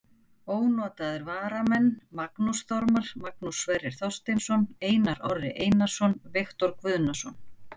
Ónotaðir varamenn: Magnús Þormar, Magnús Sverrir Þorsteinsson, Einar Orri Einarsson, Viktor Guðnason.